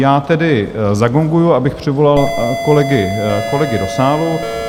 Já tedy zagonguji, abych přivolal kolegy do sálu.